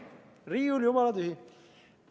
Riiul on jumala tühi.